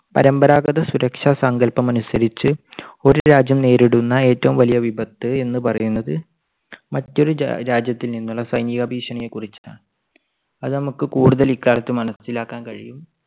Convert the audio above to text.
പരമ്പരാഗത സുരക്ഷാ സങ്കല്പമനുസരിച്ച് ഒരു രാജ്യം നേരിടുന്ന ഏറ്റവും വലിയ വിപത്ത് എന്ന് പറയുന്നത് മറ്റൊരു ജാ~ രാജ്യത്തു നിന്നുള്ള സൈനിക ഭീഷണിയെക്കുറിച്ച് അത് നമുക്ക് കൂടുതൽ ഇക്കാലത്ത് മനസ്സിലാക്കാൻ കഴിയും.